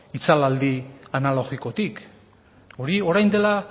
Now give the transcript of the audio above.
itzalaldi analogikotik hori orain dela